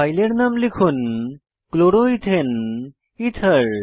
ফাইলের নাম লিখুন chloroethane এথের